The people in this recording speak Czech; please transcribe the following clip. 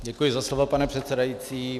Děkuji za slovo, pane předsedající.